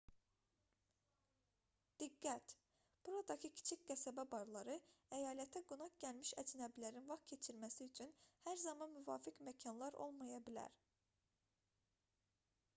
diqqət buradakı kiçik qəsəbə barları əyalətə qonaq gəlmiş əcnəbilərin vaxt keçirməsi üçün hər zaman müvafiq məkanlar olmaya bilər